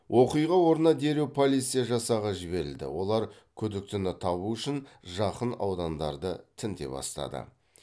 оқиға орнына дереу полиция жасағы жіберілді олар күдіктіні табу үшін жақын аудандарды тінте бастады